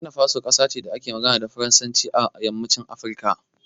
Burkina Faso kasa ce da ke magana da Faransanci a yammacin Afirka.